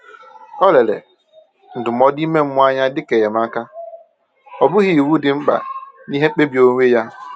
O lere ndụmọdụ ime mmụọ anya dịka enyemaka, ọ bụghị iwu dị mkpa n’ihe mkpebi onwe ya.